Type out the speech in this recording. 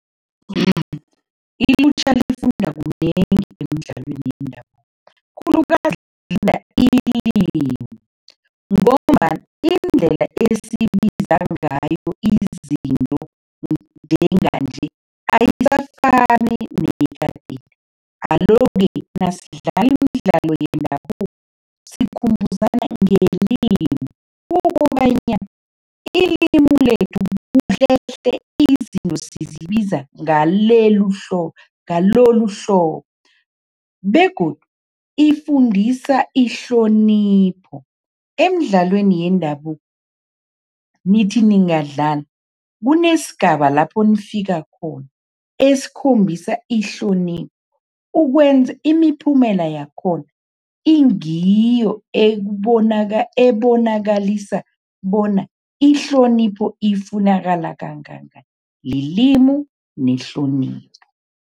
Ilutjha lifunda kunengi emidlalweni yendabuko, khulukazi ngombana iindlela esibiza ngayo izinto njenganje ayisafani nekadeni, alo-ke nasidlala imidlalo yendabuko sikhumbuzana ngelimu ukobanyana ilimu lethu kuhlehle, izinto sizibiza ngaleli ngaloluhlobo begodu ifundisa ihlonipho. Emidlalweni yendabuko, nithi ningadlala, kunesigaba lapho nifika khona, esikhombisa ihlonipho, ukwenza imiphumela yakhona ingiyo ebonakalisa bona ihlonipho ifunakala kangangani, lilimu, nehlonipho.